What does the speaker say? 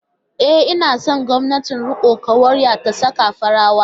E, ina son gwamnatin rikon kwarya ta sake farawa.